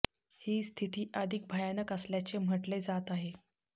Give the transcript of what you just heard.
ही स्थिती अधिक भयानक असल्याचे म्हटले जात आहे